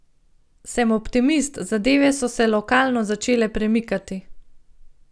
Sem optimist, zadeve so se lokalno začele premikati.